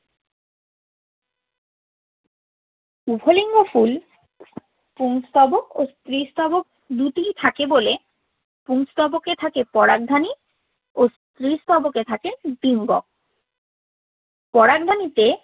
উভয় লিঙ্গ ফুল পুংস্তবক ও স্ত্রীস্তবক দুটিই থাকে বলে পুংস্তবকে থাকে পরাগধানী ও স্ত্রীস্তবকে থাকে ডিম্বক। পরাগধানীতে